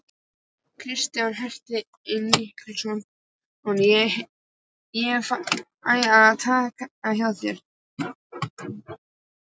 Kjartan Hreinn Njálsson: Ég fæ að taka hjá þér?